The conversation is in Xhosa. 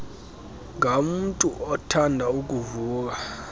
ngamntu othanda ukuvuka